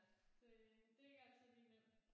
Det det er ikke altid lige nemt